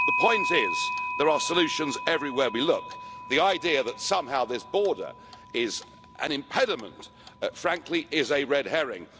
The point is, there are solutions everywhere we look. The idea that somehow this border is an impediment is, frankly, a red herring.